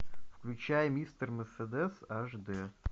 включай мистер мерседес аш д